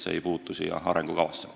See ei puutu sellesse arengukavasse.